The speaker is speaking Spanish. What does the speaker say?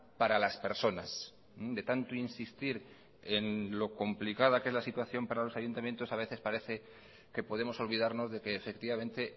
para las personas de tanto insistir en lo complicada que es la situación para los ayuntamientos a veces parece que podemos olvidarnos de que efectivamente